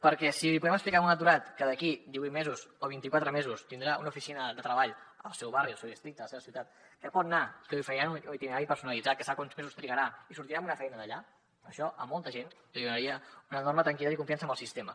perquè si li podem explicar a un aturat que d’aquí divuit mesos o vint i quatre mesos tindrà una oficina de treball al seu barri al seu districte a la seva ciutat que hi pot anar i que li oferiran un itinerari personalitzat que sap quants mesos trigarà i sortirà amb una feina d’allà això a molta gent li donaria una enorme tranquil·litat i confiança amb el sistema